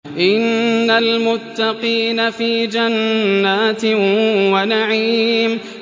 إِنَّ الْمُتَّقِينَ فِي جَنَّاتٍ وَنَعِيمٍ